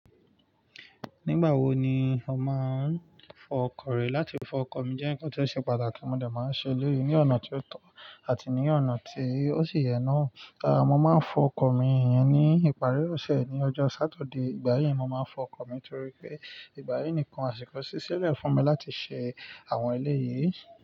Nígbà wo ni o máa ń fọ ọkọ̀ rẹ? Láti fọ ọkọ̀ mi jẹ́ ǹkan tó ṣe pàtàkì, mo de máa ń ṣe eleyi ní ọ̀nà tí ó tọ́ àti ní ọ̀nà tí ó sì yẹ na Rárá, mo máa ń fọ ọkọ̀ mi iyẹn ní ìparí ọ̀sẹ̀ ní ọjọ́ Satide. Ìgbà yii mo máa ń fọ ọkọ̀ mi torí pé ìgbà yii nìkan àsìkò ṣíṣẹ́ lè fún mi láti ṣe àwọn eléyìí.